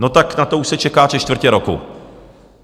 No tak na to už se čeká tři čtvrtě roku.